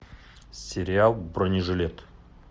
сериал бронежилет